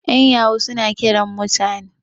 yan yahu suna Kiran mutane